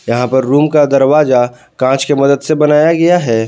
यहां पर रूम का दरवाजा कांच के मदद से बनाया गया है।